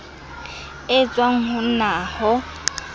e tswang ho nac ho